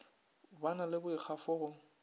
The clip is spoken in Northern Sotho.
ba na le boikgafo go